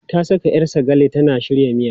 Ta saka 'yar sagale tana shirya miya.